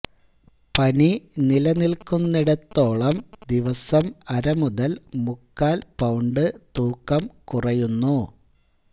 പനി നിലനിൽക്കുന്നിടത്തോളം ദിവസം അരമുതൽ മുക്കാൽ പൌണ്ട് തൂക്കം കുറയുന്നു